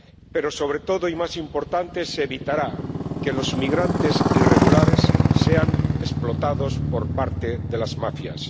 Pero, sobre todo, y lo más importante, se evitará que los migrantes irregulares sean explotados por parte de las mafias.